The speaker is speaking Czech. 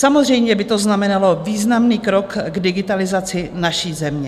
Samozřejmě by to znamenalo významný krok k digitalizaci naší země.